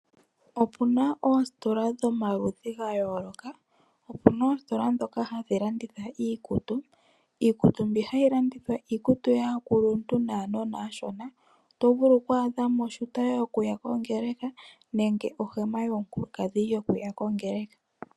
Opuna oostola dhomaludhi gayooloka. Opuna oostola ndhoka hadhi landitha iikutu . Iikutu mbi hayi landithwa, iikutu yaakuluntu naanona aashona. Oto vulu oku adhamo ooshuta yokuya kongeleka nenge ohema yomukuladhi yokuya kongeleka.